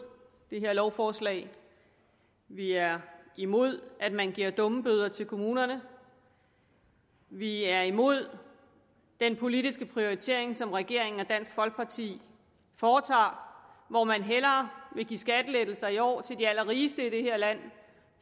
det her lovforslag vi er imod at man giver dummebøder til kommunerne vi er imod den politiske prioritering som regeringen og dansk folkeparti foretager hvor man hellere vil give skattelettelser i år til de allerrigeste i det her land